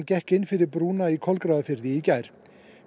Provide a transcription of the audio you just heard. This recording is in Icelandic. gekk inn fyrir brúna í Kolgrafafirði í gær